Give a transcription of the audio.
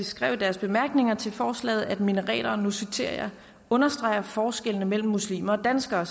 skrev i deres bemærkninger til forslaget at minareter og nu citerer jeg understreger forskellene mellem muslimer og danskere